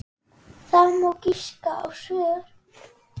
Það má giska á svör.